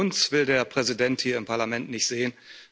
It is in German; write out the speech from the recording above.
Nur uns will der Präsident hier im Parlament nicht sehen.